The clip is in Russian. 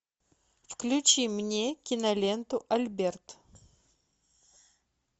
включи мне киноленту альберт